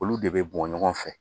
Olu de bɛ bɔ ɲɔgɔn fɛ